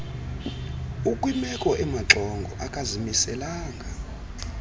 ukwimeko emaxongo akazimiselanga